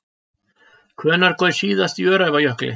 Hvenær gaus síðast í Öræfajökli?